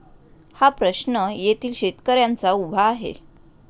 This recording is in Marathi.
हा प्रश्न येथील शेतकऱ्यांचा उभा आहे.